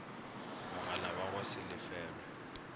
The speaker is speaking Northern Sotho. mogala wa go se lefelwe